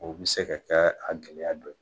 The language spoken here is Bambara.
O bi se ka kɛɛ a gɛlɛya dɔ ye.